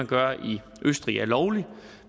gør i østrig er lovligt